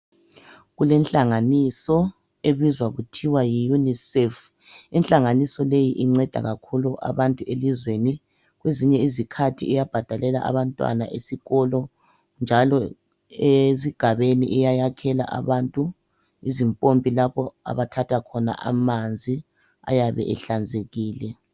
Kulenhlanganiso ebizwa kuthiwa yiUNICEF. Inhlanganiso leyi inceda kakhulu abantu elizweni. Kwezinye izikhathi iyabhadelela abantwana esikolo njalo ezigabeni iya yakhela abantu izimpompi lapho abathatha khona amanzi ayabe ehlanzekile.